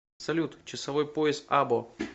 салют часовой пояс або